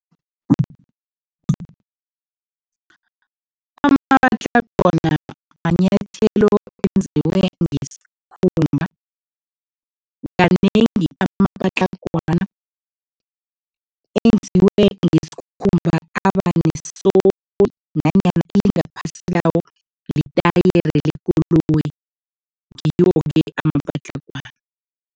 Amapatlagwana manyathelo enziwe ngesikhumba, kanengi amapatlagwana enziwe ngesikhumba nanyana ilingaphasi lawo, litatyere lekoloyi, ngiwo-ke amapatlagwana.